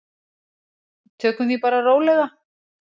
Tökum því bara rólega.